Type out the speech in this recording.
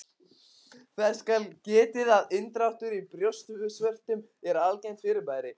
Þess skal getið að inndráttur í brjóstvörtum er algengt fyrirbæri.